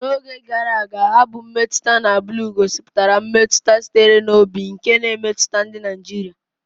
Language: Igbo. N'oge gara aga, abụ mmetụta na blu gosipụtara mmetụta sitere n'obi nke na-emetụta ndị Naijiria.